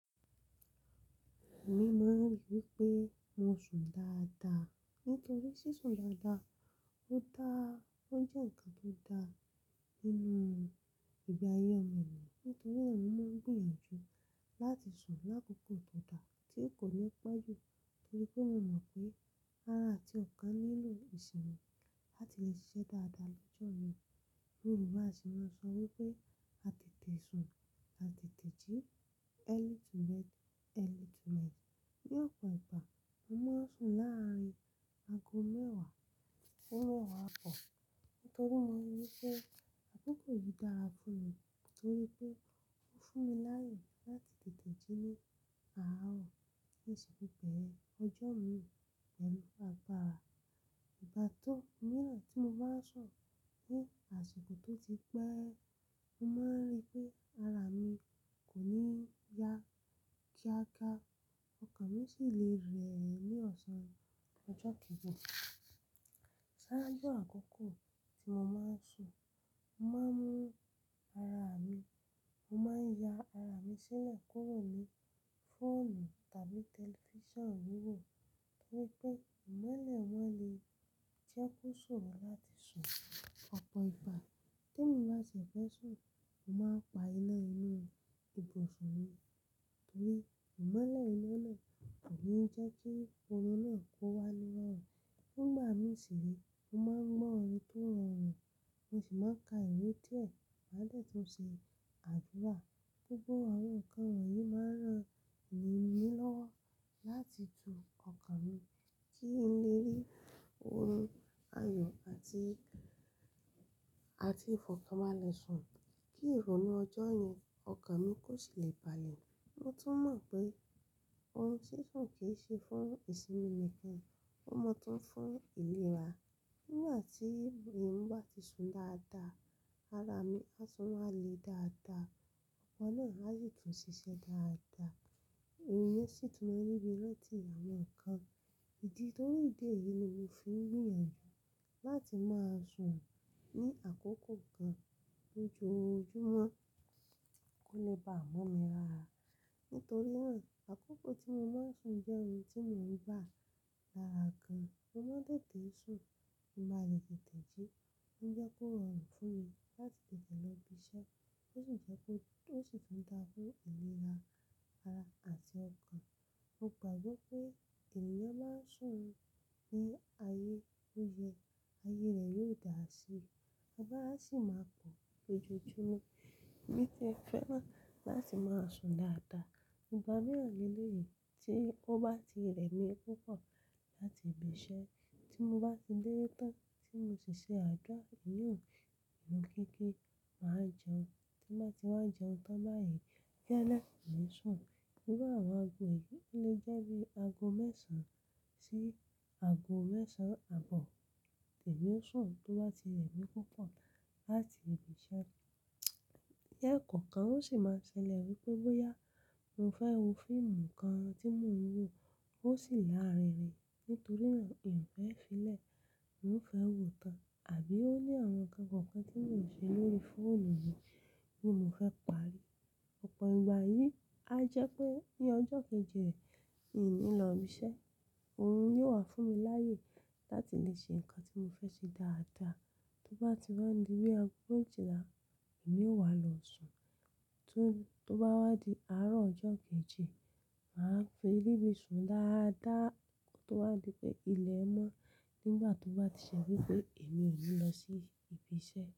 Èmi máa ń rí i wípé mo sùn dáadáa. Nítorí ṣíṣùn dáadáa ó dàá, ó jẹ́ ǹkan tó dà nínú ìgbé ayé ọmọ ènìyàn. Nítorí rẹ̀ mo máa ń gbìyànjú láti sùn lákòókò tó dà tí kò ní pọ̀jù torí pé mo mọ̀ pé ara àti ọkàn nílò ìṣùn láti lè ṣiṣẹ́ dáadáa lọ́jọ́ mii Yorùbá sì máa ń sọ wípé "àtètè sùn, àtètè jí, early to bed, early to rise". Ní ọ̀pọ̀ ìgbà mo máa ń sùn láàrin ago mẹ́wàá àbọ̀ nítorí mo mọ̀ wípé àkókò yìí dára fún mi torí pé ó fún mi láyè láti tètè jí ní àárọ̀. Ó ṣe wípé ọjọ́ mi pẹ̀lú apá ara. Ìgbà tó míràn tí mo bá sùn ní àsìkò tó ti pẹ́, mo máa ń rí pé ara mi kò ní yá kíákíá ọkàn mi sì le rẹ̀ ẹ́ ní ọ̀sán ọjọ́ kejì. Ṣáájú àkókò tí mo máa ń sùn, mo máa ń ya ara mi sílẹ̀ kúrò ní fóònù tàbí tẹlifíṣàn wíwò torí pé ìmọ́lẹ̀ wọn lè jẹ́ kó sùn wá láti sùn. Ọ̀pọ̀ ìgbà tí mo bá ṣe fẹ́ sùn, mo máa pa iná inú ibùsùn mi torí ìmọ́lẹ̀ iná náà kò ní jẹ́ kí orun náà kó wá ní rọrùn. Nígbà mí ṣeré, mo máa ń gbọ́n orin tó rọrùn mo sì máa ka ìwé díẹ̀ lẹ́yìn tí mo bá ṣe àdúrà. Gbogbo àwọn nǹkan wọ̀nyí máa ń ràn mí lọ́wọ́ láti tu ọkàn mi kí n lè rí orun ayọ̀ àti ìfọ̀kànbalẹ̀ sùn, kí ìrònú ọjọ́ yẹn, ọkàn mi kó sì lè balẹ̀. Mo tún mọ̀ pé orun ṣíṣùn kì í ṣe fún ìsinmi nìkan, ó mọ tún fún ìlera. Nígbà tí èmi bá ti sùn dáadáa, ara mi à tún máa le dáadáa, ọkàn náà a sì tún ṣiṣẹ́ dáadáa. Torí ìmọ́lẹ̀ iná náà kò ní jẹ́ kí orun náà kó wá ní rọrùn. Nígbà mí ṣiré, mo máa ń gbọ́n orin tó rọrùn mo sì máa ka ìwé díẹ̀ ma de tun ṣe àdúrà. Gbogbo àwọn nǹkan wọ̀nyí máa ń ràn mí lóró láti ju ọkàn mi kí n lè rí oyún ayọ̀ àti ìfọ̀kànbalẹ̀ sùn kí ìrònú ọjọ́ yẹn, ọkàn mi kó sì lè balẹ̀. Mo tún mọ̀ pé ohun ṣíṣùn kì í ṣe fún ìsinmi mẹ́kẹ́ẹ́, ó mọ tún fún ìlera. Mo máa ń tètè sùn kí n ba lè tètè jí ó ń jẹ́ kó rọrùn fún mi láti tètè lọ ibi iṣẹ́, ó sì jẹ́ ó, ò sì tún dára fùn ìlera ara àti ọkàn. Mo gbàgbọ́ pé èèyàn máa n sùn ní ayé tó yẹ, ayée rẹ̀ yóò dára si. Ọba á sì máa pọ̀ lójoojúmọ́. Bí ẹ fẹ́ bá láti máa sùn dáadáa, ìgbà mìíràn léyìí tí ó bá ti rẹ̀ mí púpọ̀ láti ibi iṣẹ́ tí mo bá ti dé tán tí mo sì ṣe àdúrà, èèyàn inú kíké máa jẹun. Tí mo bá ti wá jẹun tán báyìí, gẹ́lẹ́ mo n sùn. Irú aàwon aago yí le jẹ́ bí aago mẹ́ẹ̀san sí aago mẹ́ẹ̀san àbọ̀. Èmi n sùn tó bá ti rẹ̀mí púpọ̀ láti ibi iṣẹ́. Lẹ́ẹ̀kọ̀ọ̀kan o ṣi máa n ṣẹlẹ̀ wípé bóya mo fẹ́ wo fíìmù kan tí mo n wò ó sì lárinrin nítori náà n o fẹ́ fi ilẹ̀ n ó fẹ́ wòó tán, tàbíí ó ní àwọn nkan tí mò n se lórí i fóònù tí mo fẹ́ parí. Ọ̀pọ̀ ìgbà yìí á jẹ́ pé ní ọjọ́ kejì rẹ̀, mi ò ní lọ ibi iṣẹ́. Ohun yóò wà fún mi láyè láti lè ṣe nǹkan tí mo fẹ́ ṣe dáadáa. Tó bá ti wá n di ní ago méjìlá, èmi ó wá lọ sùn. Tó bá wá di àárọ̀ ọjọ́ kejì, màá fi ríbi sùn dáadáa tó wá di pé ilẹ̀ mọ́ nígbà tó bá ti ṣe wípé èmi ò ní lọ sí ibi iṣẹ́.